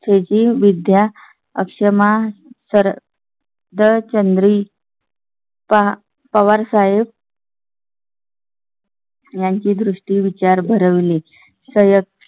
विद्या अक्षमा सरळ. दर चंद्री. पहा पवार साहेब . यांची दृष्टी विचार भर विले.